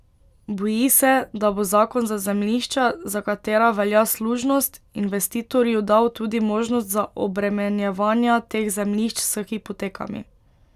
Boji se, da bo zakon za zemljišča, za katera velja služnost, investitorju dal tudi možnost za obremenjevanja teh zemljišč s hipotekami.